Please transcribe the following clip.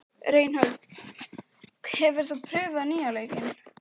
Reinhold, hefur þú prófað nýja leikinn?